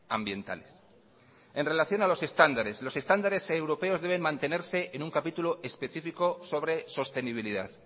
ambientales en relación a los estándares los estándares europeos deben mantenerse en un capítulo específico sobre sostenibilidad